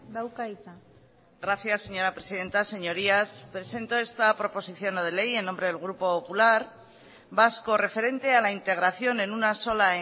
dauka hitza gracias señora presidenta señorías presento esta proposición no de ley en nombre del grupo popular vasco referente a la integración en una sola